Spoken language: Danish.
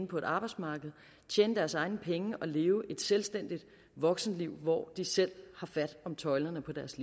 på arbejdsmarkedet tjene deres egne penge og leve et selvstændigt voksenliv hvor de selv tager fat om tøjlerne i deres